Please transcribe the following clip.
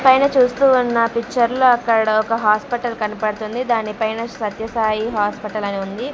పైన చూస్తూ ఉన్న పిక్చర్ లో అక్కడ ఒక హాస్పిటల్ కనబడుతుంది దాని పైన సత్య సాయి హాస్పిటల్ అని ఉంది.